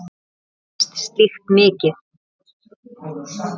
Mér leiðist slíkt mikið.